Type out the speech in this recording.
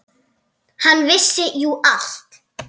Hann vissi jú allt.